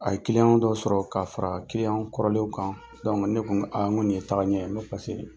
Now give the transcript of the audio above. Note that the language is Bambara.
A ye dɔ sɔrɔ ka fara kɔrɔlen kan ne ko n ko nin ye tagaɲɛn ye n ko paseke